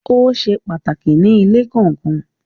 Ó se pàtàkì ní ilé kọ̀ọ̀kan.